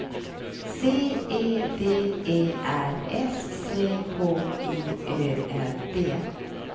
C E D E R S C H I Ö L D